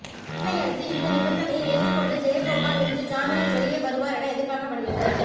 இதனையடுத்து இந்த நிபந்தனையை ஏற்றுக்கொண்டு ஜெயகோபால் இன்று ஜாமீனில் வெளியே வருவார் என எதிர்பார்க்கப்படுகிறது